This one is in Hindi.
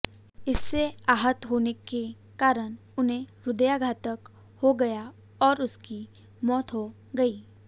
इससे आहत होने के कारण उन्हें हृदयाघात हो गया और उनकी मौत हो गई